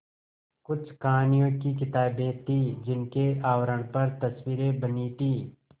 कुछ कहानियों की किताबें थीं जिनके आवरण पर तस्वीरें बनी थीं